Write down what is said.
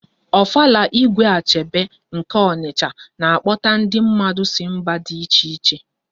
Ofala Igwe Achebe nke Ọnicha na-akpọta ndi mmadụ si mba dị iche iche